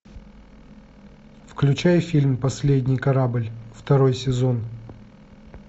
включай фильм последний корабль второй сезон